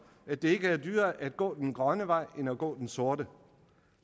at det ikke er dyrere at gå den grønne vej end at gå den sorte og